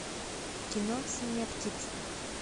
кино синяя птица